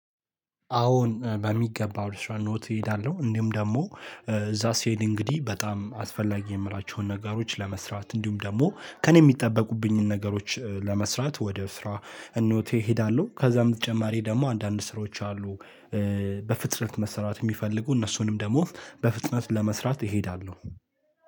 አዎን በሚገባ ወደ ስራ እሄዳለው እንዲሁም ደሞ እዛ ስሄድ እንግዲ በጣም አስፈላጊ የምላቸውን ነገር ለመስራት እንዲሁም ደሞ ከኔ የሚጠበቁብኝን ነገሮች ለመስራት ወደስራ እኖቴ እሄዳለሁ ከዛም በተጨማሪ ደግሞ አንዳንድ ስራዎች አሉ። በፍጥነት መስራት የሚፈልጉ እነሱንም ደግሞ በፍጥነት ለመስራት እሄዳለሁ።